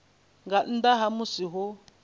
nga nnḓa ha musi ho